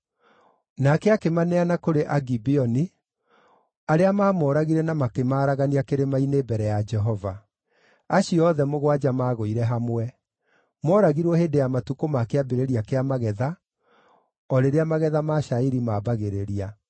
Nake akĩmaneana kũrĩ Gibeoni, arĩa maamooragire na makĩmaaragania kĩrĩma-inĩ mbere ya Jehova. Acio othe mũgwanja maagũire hamwe; mooragirwo hĩndĩ ya matukũ ma kĩambĩrĩria kĩa magetha, o rĩrĩa magetha ma cairi maambagĩrĩria.